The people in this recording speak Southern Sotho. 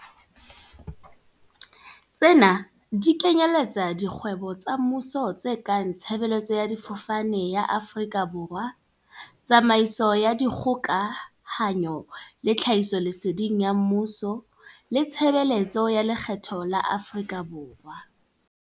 Tsena di kenyeletsa dikgwebo tsa mmuso tse kang Tshe beletso ya Difofane ya Afrika Borwa, Tsamaiso ya Dikgoka hanyo le Tlhahisoleseding ya Mmuso le Tshebeletso ya Lekgetho ya Afrika Borwa.